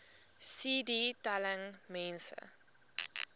cd telling mense